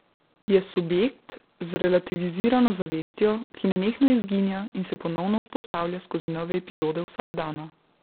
Je subjekt z relativizirano zavestjo, ki nenehno izginja in se ponovno vzpostavlja skozi nove epizode vsakdana.